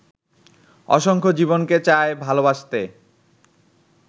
অসংখ্য জীবনকে চায় ভালোবাসতে